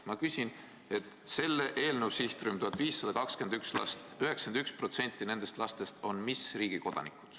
Ma küsin, et mis riigi kodanikud on selle eelnõu sihtrühma kuuluvast 1521 lapsest 91%.